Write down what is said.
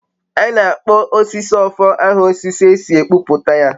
A na-akpọ osisi ofo aha osisi e si kpụpụta ya.